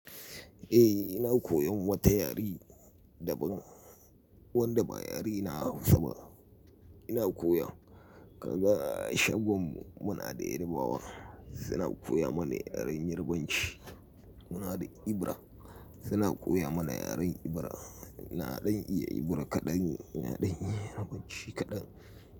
Eh, ina koyan wata yare daban wanda ba yare na Hausa ba. Ina koya kaga shagon mu muna da yarabawar suna koya mana yaren Yarbanci. Muna da Ibira suna koya mana yaren Ibira. Na ɗan iya Ibira kaɗan, na ɗan iya Yarbanci kaɗan.